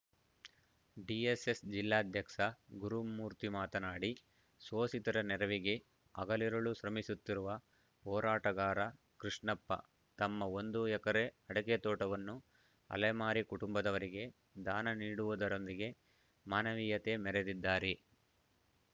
DSS ಜಿಲ್ಲಾಧ್ಯಕ್ಷ ಗುರುಮೂರ್ತಿ ಮಾತನಾಡಿ ಶೋಷಿತರ ನೆರವಿಗೆ ಹಗಲಿರುಳು ಶ್ರಮಿಸುತ್ತಿರುವ ಹೋರಾಟಗಾರ ಕೃಷ್ಣಪ್ಪ ತಮ್ಮ ಒಂದು ಎಕರೆ ಅಡಕೆ ತೋಟವನ್ನು ಅಲೆಮಾರಿ ಕುಟುಂಬದವರಿಗೆ ದಾನ ನೀಡುವುದರೊಂದಿಗೆ ಮಾನವೀಯತೆ ಮೆರೆದಿದ್ದಾರೆ